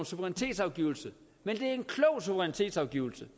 suverænitetsafgivelse men det er en klog suverænitetsafgivelse